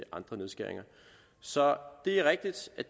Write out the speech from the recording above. andre nedskæringer så det er rigtigt at